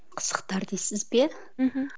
қызықтар дейсіз бе мхм